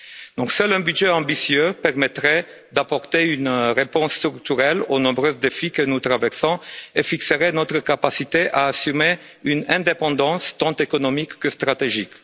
Donc, seul un budget ambitieux permettrait d'apporter une réponse structurelle aux nombreux défis que nous traversons et fixerait notre capacité à assumer une indépendance tant économique que stratégique.